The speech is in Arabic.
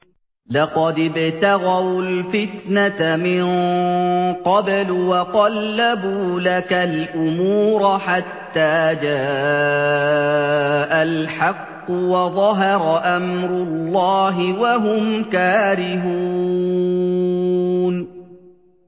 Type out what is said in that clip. لَقَدِ ابْتَغَوُا الْفِتْنَةَ مِن قَبْلُ وَقَلَّبُوا لَكَ الْأُمُورَ حَتَّىٰ جَاءَ الْحَقُّ وَظَهَرَ أَمْرُ اللَّهِ وَهُمْ كَارِهُونَ